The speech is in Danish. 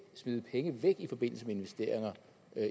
smide penge væk i forbindelse med investeringer